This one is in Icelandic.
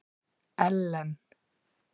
Ellen